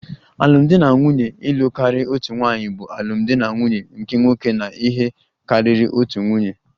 Alụmdi na nwunye ịlụ karịa otu nwaanyị bụ alụmdi na nwunye nke nwoke na ihe karịrị otu nwunye